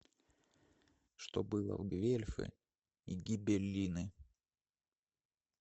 что было в гвельфы и гибеллины